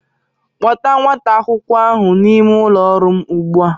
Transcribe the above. Kpọta nwata akwụkwọ ahụ n'ime ụlọ ọrụ m ugbua!